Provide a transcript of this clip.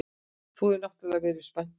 Þú hefur náttúrlega verið spenntur.